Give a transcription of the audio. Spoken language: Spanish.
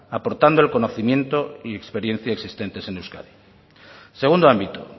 aportando el conocimiento y experiencia existentes en euskadi segundo ámbito